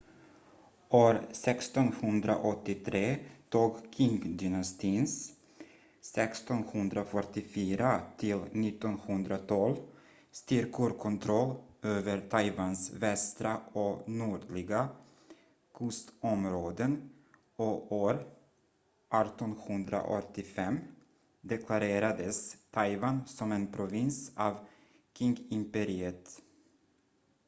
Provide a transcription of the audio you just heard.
år 1683 tog qingdynastins 1644-1912 styrkor kontroll över taiwans västra och nordliga kustområden och år 1885 deklarerades taiwan som en provins av qingimperiet